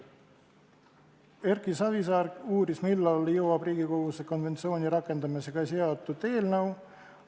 Erki Savisaar uuris, millal jõuab Riigikogusse konventsiooni rakendamisega seotud eelnõu.